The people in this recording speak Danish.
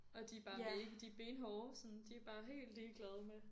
Og de bare de benhårde sådan de er bare helt ligeglade med